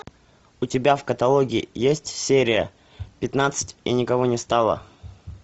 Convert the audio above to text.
у тебя в каталоге есть серия пятнадцать и никого не стало